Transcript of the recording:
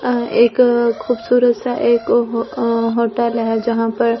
आं हा एक खूबसूरत सा एक हो होटल है जहां पर एक--